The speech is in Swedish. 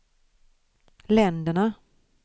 länderna